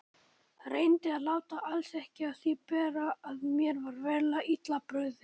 Reyndi að láta alls ekki á því bera að mér var verulega illa brugðið.